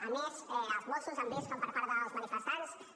a més els mossos han vist com per part dels manifestants els